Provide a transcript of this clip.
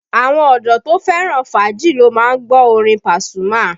Àwọn ọdọ́ to fẹ́ràn fàájì ló má ń gbọ́ orin Pasuma